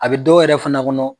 A bɛ dɔw yɛrɛ fana kɔnɔ